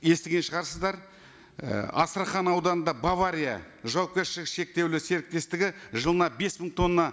естіген шығарсыздар і астрахан ауданында бавария жауапкершілігі шектеулі серіктестігі жылына бес мың тонна